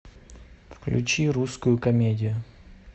включи русскую комедию